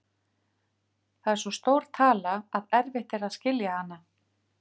Það er svo stór tala að erfitt er að skilja hana.